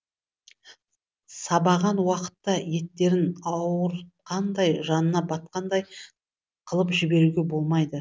сабаған уақытта еттерін ауыртқандай жанына батқандай қылып жіберуге болмайды